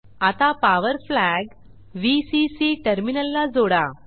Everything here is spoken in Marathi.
आता पॉवर फ्लॅग व्हीसीसी टर्मिनलला जोडा